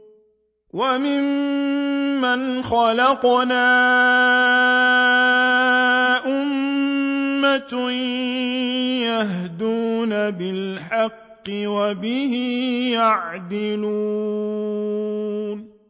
وَمِمَّنْ خَلَقْنَا أُمَّةٌ يَهْدُونَ بِالْحَقِّ وَبِهِ يَعْدِلُونَ